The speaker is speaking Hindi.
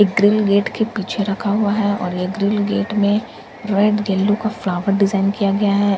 एक ग्रिल गेट के पीछे रखा हुआ है और एक ग्रिल गेट में रेड येलो का फ्लावर डिज़ाइन किया गया है ।